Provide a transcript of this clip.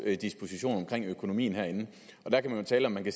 dispositioner for økonomien herinde og der kan man jo tale om det